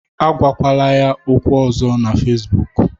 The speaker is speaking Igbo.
Agwakwala ya okwu ọzọ na Facibụkụ